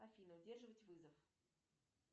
афина удерживать вызов